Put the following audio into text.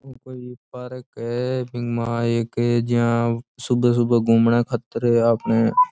ओ कोई पार्क है बिंग मा एक जियाँ सुबह सुबह घूमना खातर आपने।